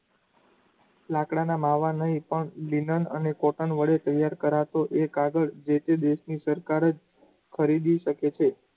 લાકડાના માવાનું નો એ પણ linen અને cotton વડે તૈયાર કરાતું એક આગળ જે તે દેશની સરકાર જ ખરીદી શકે છે.